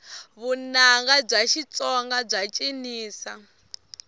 vunanga bya xitsonga bya cinisa